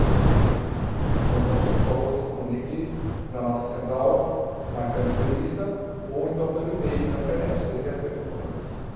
um cinco meia Ou então, o senhor, por favor, se comunique na nossa central, marcando entrevista, ou então pelo e-mail na internet, cê ê tê ésse pê ponto com ponto.